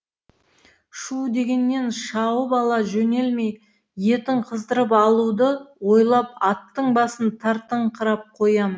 шү дегеннен шауып ала жөнелмей етін қыздырып алуды ойлап аттың басын тартыңқырап қоямын